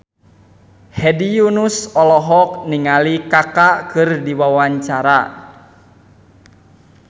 Hedi Yunus olohok ningali Kaka keur diwawancara